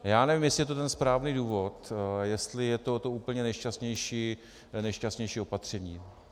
Já nevím, jestli je to ten správný důvod, jestli je to to úplně nejšťastnější opatření.